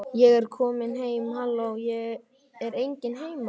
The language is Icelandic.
Ég er komin heim halló, er enginn heima?